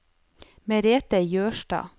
Merethe Jørstad